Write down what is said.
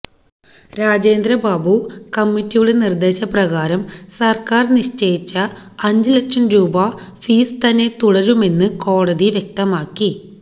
രാജേന്ദ്രബാബു കമ്മിറ്റിയുടെ നിര്ദ്ദേശ പ്രകാരം സര്ക്കാര് നിശ്ചയിച്ച അഞ്ച് ലക്ഷം രൂപ ഫീസ് തന്നെ തുടരുമെന്ന് കോടതി വ്യക്തമാക്കി